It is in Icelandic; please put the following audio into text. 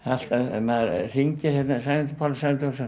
maður hringir hérna Sæmundur Pálsson